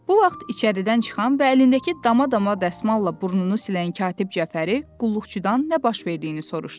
Bu vaxt içəridən çıxan və əlindəki dama-dama dəsmalla burnunu silən katib Cəfəri qulluqçudan nə baş verdiyini soruşdu.